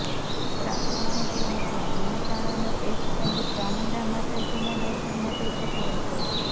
પ્રાપ્ત માહિતી મુજબ મહેસાણાનો એક સંઘ ચામુડા માતાજીના દર્શન માટે જતો હતો